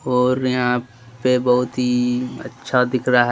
और यहां पे बहुत ही अच्छा दिख रहा है।